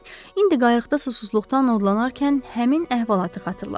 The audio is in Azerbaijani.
İndi qayıqda susuzluqdan odlanarkən həmin əhvalatı xatırladı.